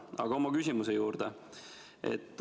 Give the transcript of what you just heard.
Aga nüüd minu küsimuse juurde.